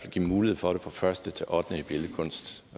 at give mulighed for det fra første til ottende klasse i billedkunst